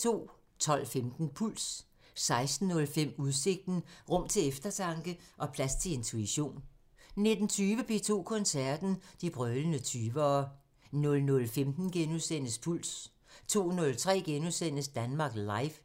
12:15: Puls 16:05: Udsigten – Rum til eftertanke og plads til intuition 19:20: P2 Koncerten – De brølende 20'ere 00:15: Puls * 02:03: Danmark Live *